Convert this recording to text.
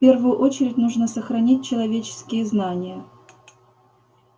в первую очередь нужно сохранить человеческие знания